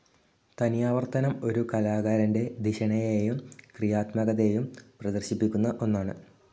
തനിയാവർത്തനം ഒരു കലാകാരൻ്റെ ധിഷണയേയും ക്രിയാത്മകതയും പ്രദർശിപ്പിക്കുന്ന ഒന്നാണ്